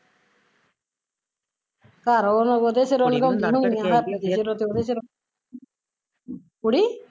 ਘਰ ਹੁਣ ਉਹਦੇ ਸਿਰ ਹੁੰਦੀ ਹੁਣੀ ਆ ਕੁੜੀ